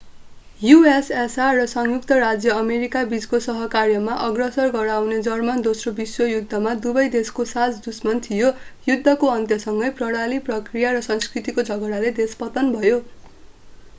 ussr र संयुक्त राज्य अमेरिका बीचको सहकार्यमा अग्रसर गराउने जर्मन दोस्रो विश्वयुद्धमा दुवै देशको साझा दुश्मन थियो युद्धको अन्त्यसँगै प्रणाली प्रक्रिया र संस्कृतिको झगडाले देश पतन भयो